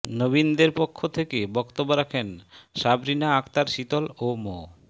নবীনদের পক্ষ থেকে বক্তব্য রাখেন সাবরিনা আখতার শীতল ও মো